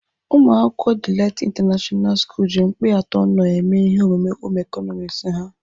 Umuakwukwo Delight International school ji mkpịatọ knorr eme ihe omume Home ịkọnọmiks ha.